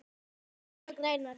ORA grænar